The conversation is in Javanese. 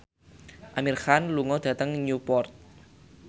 Amir Khan lunga dhateng Newport